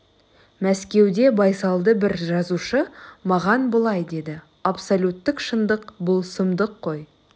мәскеуде байсалды бір жазушы маған былай деді абсолюттік шындық бұл сұмдық қой